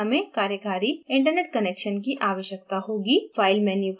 अणु के import के लिए हमे कार्यकारी internet connection की आवश्यकता होगी